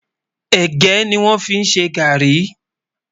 ẹ̀gé ní wón fí ṣé garri